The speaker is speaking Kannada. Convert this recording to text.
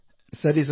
ಸರಿ ಸರ್